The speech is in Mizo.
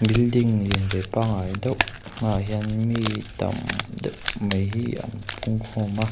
building lian ve pangngai deuh hmaah hian mi tam deuh mai hi an pung khawm a.